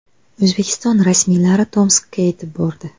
O‘zbekiston rasmiylari Tomskka yetib bordi.